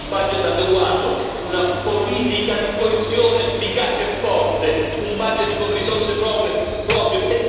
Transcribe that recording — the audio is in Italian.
Infine, un budget adeguato, una politica di coesione efficace e forte, un budget con risorse proprie.